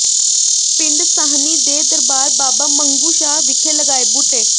ਪਿੰਡ ਸਾਹਨੀ ਦੇ ਦਰਬਾਰ ਬਾਬਾ ਮੰਗੂ ਸ਼ਾਹ ਵਿਖੇ ਲਗਾਏ ਬੂਟੇ